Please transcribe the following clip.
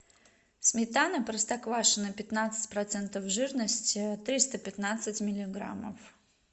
сметана простоквашино пятнадцать процентов жирности триста пятнадцать миллиграммов